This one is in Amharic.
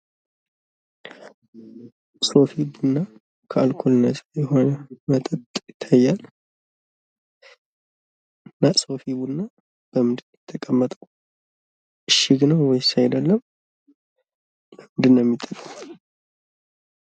ሶፊ ቡና ከአልኮል ነጻ የሆነ መጠጥ ይታያል። እና ሶፊ ቡናው በምን ነው የተቀመጠው? እሽግ ነው ወይስ አይደለም?